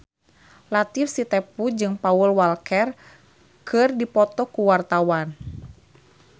Latief Sitepu jeung Paul Walker keur dipoto ku wartawan